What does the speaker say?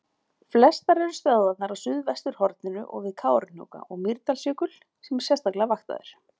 Flestar eru stöðvarnar á suðvesturhorninu og við Kárahnjúka og Mýrdalsjökul sem er sérstaklega vaktaður.